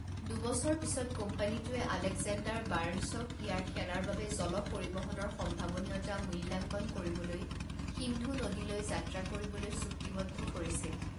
দুবছৰ পিছত কোম্পানীটোৱে আলেকজেণ্ডাৰ বাৰ্ণছক ইয়াৰ সেনাৰ বাবে জল পৰিবহনৰ সম্ভাৱনীয়তা মূল্যাঙ্কন কৰিবলৈ সিন্ধু নদীলৈ যাত্ৰা কৰিবলৈ চুক্তিবদ্ধ কৰিছিল।